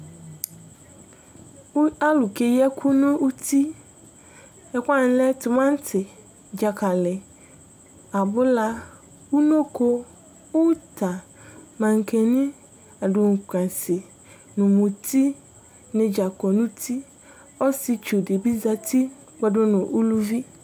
Alulu keyi ɛku nu uti Ɛkuwani lɛ timati dzakali abula unoko uta maŋkani adunkwɛnsi nu mutini dza kɔ nu uti Ɔsietsu di bi za uti kpɔ du nu uluvi